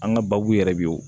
An ka baabu yɛrɛ bɛ yen o